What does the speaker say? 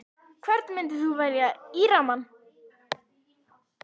Hvern myndir þú velja í rammann?